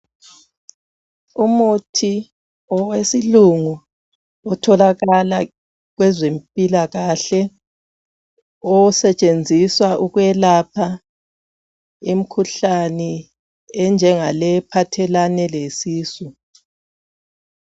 Umuthi owesilungu otholakala kwezempilakahle osetshenziswa ukwelapha imikhuhlane enjengaleyi ephathelane lesisu.